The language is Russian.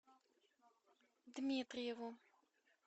дмитриеву